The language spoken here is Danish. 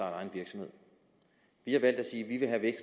egen virksomhed vi har valgt at sige at vi